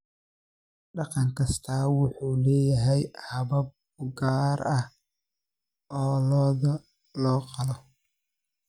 Dhaqan kastaa wuxuu leeyahay habab u gaar ah oo lo'da loo qalo.